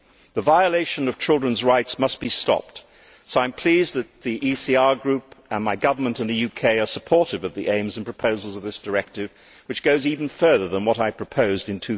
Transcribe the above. The violation of children's rights must be stopped, so I am pleased that the ECR Group and my government in the UK are supportive of the aims and proposals of this directive, which goes even further than what I proposed in